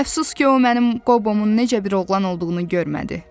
Əfsus ki, o mənim Qobomun necə bir oğlan olduğunu görmədi.